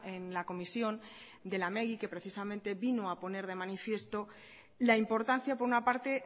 en la comisión de lamegi que precisamente vino a poner de manifiesto la importancia por una parte